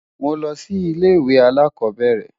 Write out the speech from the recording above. Mo lọ sí ilé-ìwé alákọ̀ọ́bẹ̀rẹ̀.